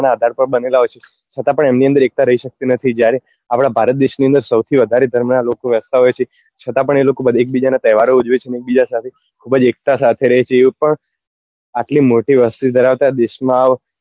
છતાં પણ એમની અંદર એકતા રહી સકતી નથી જ્યારે આપડા ભારત દેશ ની અંદર સૌથી વધારે ધર્મ નાં લોકો રહેતા હોય છે છતાં પણ એ લોકો એક બીજા ના તહેવાર ઉજવે છે ને એક બીજા સાથે ખુબ જ એકતા સાથે રહે છે એ પણ આટલી મોટી વસ્તી ધરાવતા દેશ માં